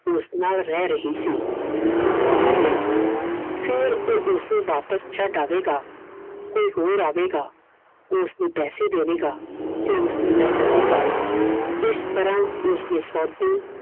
ਉਸ ਨਾਲ ਰਹਿ ਰਹੀ ਸੀ I ਕੁਝ ਦੇਰ ਲਈ ਫੇਰ ਉਹ ਉਸਨੂੰ ਵਾਪਸ ਛੱਡ ਆਵੇਗਾ, ਕੋਈ ਹੋਰ ਆਵੇਗਾ ਉਸਨੂੰ ਪੈਸੇ ਦੇਵੇਗਾ ਤੇ ਉਸ ਨੂੰ ਲੈ ਜਾਵੇਗਾ I ਇਸ ਤਰਹ ਉਸਦੇ ਸੋਦੇ